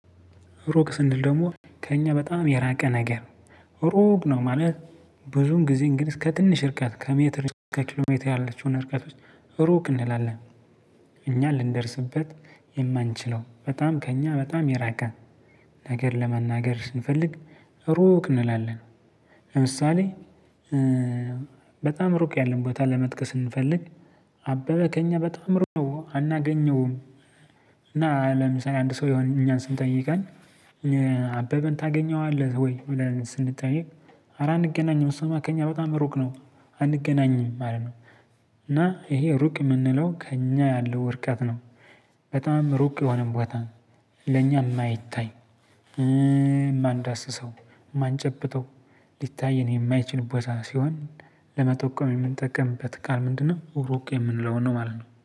ሩቅ ስንል ደግሞ ከእኛ በጣም የራቀ ነገር ሩቅ ነው። ማለት ብዙን ጊዜ እንግዲ ስከ ትንሽ እርቀት ከሜትር እስከ ኪሎ ሜትር ያለችውን እርቀት ውስጥ ሩቅ እንላለን። እኛ ልንደርስበት የማንችለው በጣም ከእኛ በጣም የራቀ ነገር ለመናገር ስንፈልግ ሩቅ እንላለን። ለምሳሌ በጣም ሩቅ ያለን ቦታ ለመጥቀስ ስንፈልግ አበበ ከእኛ በጣም ሩቅ ነው አናገኘውም። እና ለምሳሌ አንድ ሰው የሆነ እኛን ስንጠይቀን አበበን ታገኘዋለህ ወይ ስንጠይቅ? አረ አንገናኝም እሷ ከኛ በጣም ሩቅ ነው አንገናኝም ማለት ነው። እና ይሄ ሩቅ የምንለው ከእኛ ያለው ርቀት ነው። በጣም ሩቅ የሆነን ቦታ ለኛ የማይታይ የማንዳስሰው የማንጨብጠው ሊታይ የማይችል ቦታ ሲሆን ለመጠቆም የምንጠቀምበት ቃል ምንድነው? ሩቅ የምንለውን ነው ማለት ነው